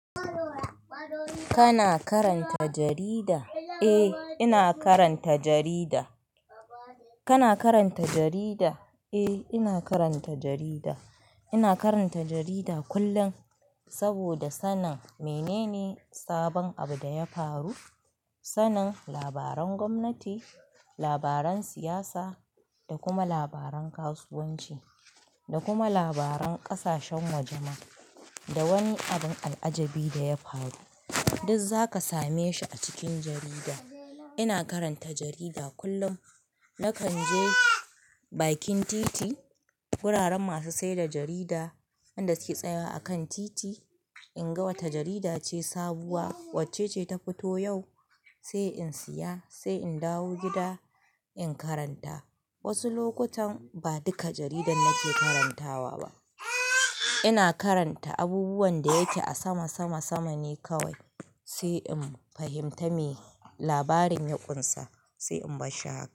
Kana karanta jarida? Eh, ina karanta jarida. Kana karanta jarida? Eh, ina karanta jarida. Ina karanta jarida kullum, saboda sanin menene sabon abu da ya faru. Sanin labaran gwamnati, labaran siyasa, da kuma labaran kasuwanci, da kuma labaran ƙasashen waje ma, da wani abun al'ajabi da ya faru, duk zaka same shi a cikin jarida. Ina karanta jarida kullum. Nakan je bakin titi, wuraren masu saida jarida, wanda suke tsaya a kan titi, in ga wace jarida ce sabuwa, wacce ce ta fito yau, sai in siya, sai in dawo gida in karanta. Wasu lokutan ba duka jaridan nake karantawa ba. Ina karanta abubuwan da yake a sama sama sama ne kawai, sai in fahimta me labarin ya kunsa, sai in bar shi haka.